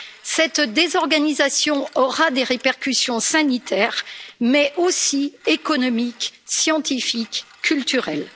Cette désorganisation aura des répercussions sanitaires mais aussi économiques, scientifiques, culturelles.